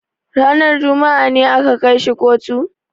Ranar juma'a ne aka kai shi kotu?